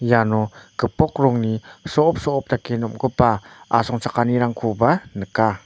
iano gipok rongni so·op so·op dake nomgipa asongchakanirangkoba nika.